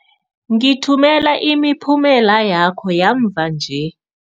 Ngithumela imiphumela yakho yamva nje.